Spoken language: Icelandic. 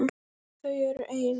Þau eru ein.